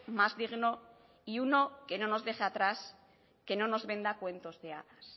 más digno y uno que no nos deje atrás que no nos venda cuentos de hadas